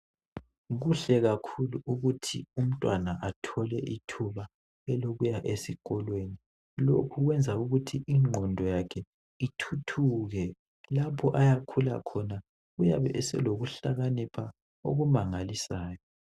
Kuhle kakhulu ukuthi umntwana athole ithuba elokuya esikolweni. Lokhu kuyenza ukuthi ingqondo yakhe ithuthuke lapho ayakhula khona uyabe eselokuhlakanipha okumangalisayo.